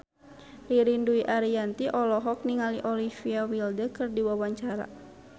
Ririn Dwi Ariyanti olohok ningali Olivia Wilde keur diwawancara